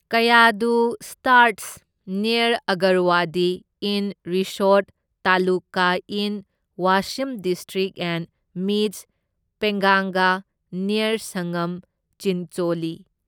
Kayadhu starts near Agarwadi in Risod taluka in Washim district and meets Penganga near Sangam Chincholi